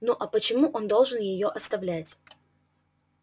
ну а почему он должен её оставлять